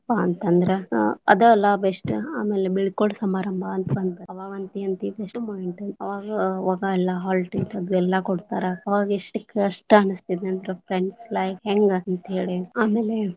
ಪಾ ಅಂತಂದ್ರ ಅದ ಅಲ್ಲಾ best ಆಮೇಲೆ ಬೀಳ್ಕೊಡ ಸಮಾರಂಭ ಅಂತ ಬಂತ ಆವಾಗಂತಿ ಅವಾಗ ಎಲ್ಲಾ hall ticket ಎಲ್ಲಾ ಕೊಡ್ತಾರ ಆವಾಗ ಎಷ್ಟ್ ಕಸ್ಟ ಹೆಂಗ ಅಂತೇಳಿ ಆಮೇಲೆ.